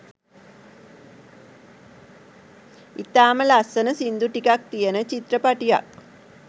ඉතාම ලස්සන සිංදු ටිකක් තියෙන චිත්‍රපටියක්